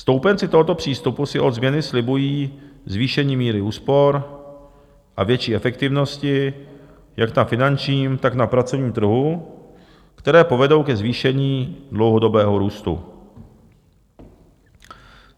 Stoupenci tohoto přístupu si od změny slibují zvýšení míry úspor a větší efektivnosti jak na finančním, tak na pracovním trhu, které povedou ke zvýšení dlouhodobého růstu.